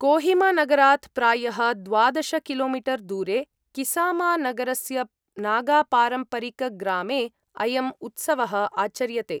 कोहिमानगरात् प्रायः द्वादश किलोमीटर् दूरे किसामानगरस्य नागापारम्परिकग्रामे अयम् उत्सवः आचर्यते।